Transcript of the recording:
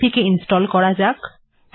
এটিকে ইনস্টল্ করা যাক